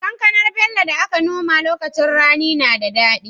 Kankanar Bello da aka nomawa a lokacin rani na da dadi